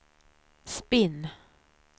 spinn